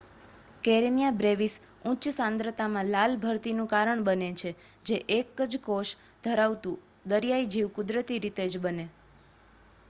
Karenia brevis ઉચ્ચ સાંદ્રતામાં લાલ ભરતીનું કારણ બને છે જે એક જ કોષ ધરાવતું દરિયાઈ જીવ કુદરતી રીતે જ બને